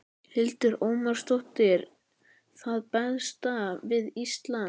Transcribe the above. Hildur Ómarsdóttir: Það besta við Ísland?